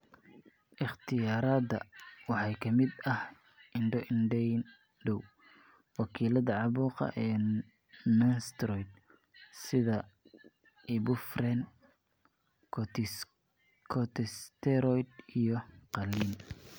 Ikhtiyaarada waxaa ka mid ah indho-indheyn dhow, wakiilada caabuqa ee nonsteroid sida Ibuprofen, corticosteroids, iyo qaliin.